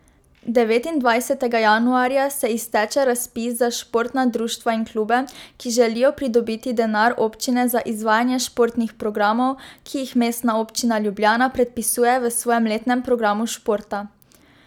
Devetindvajsetega januarja se izteče razpis za športna društva in klube, ki želijo pridobiti denar občine za izvajanje športnih programov, ki jih Mestna občina Ljubljana predpisuje v svojem letnem programu športa.